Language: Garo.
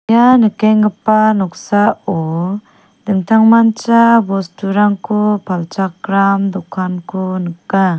ia nikenggipa noksao dingtangmancha bosturangko palchakram dokanko nika.